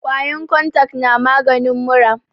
kwayan kontak na maganin mura